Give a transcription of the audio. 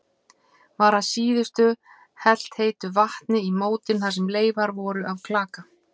Var að síðustu helt heitu vatni í mótin þar sem leifar voru af klaka.